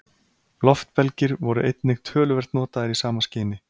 Loftbelgir voru einnig töluvert notaðir í sama skyni.